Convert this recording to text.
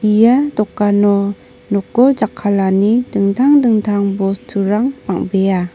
ia dokano noko jakkalani dingtang dingtang bosturang bang·bea.